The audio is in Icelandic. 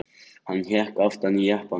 Hann hékk aftan í jeppanum.